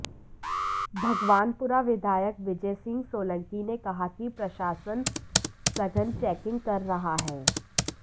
भगवानपुरा विधायक विजयसिंह सोलंकी ने कहा कि प्रशासन सघन चेकिंग कर रहा है